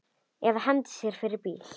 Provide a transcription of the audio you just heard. Eða hendi sér fyrir bíl.